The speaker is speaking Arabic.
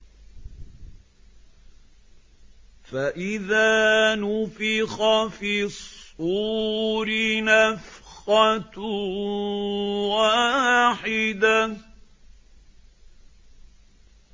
فَإِذَا نُفِخَ فِي الصُّورِ نَفْخَةٌ وَاحِدَةٌ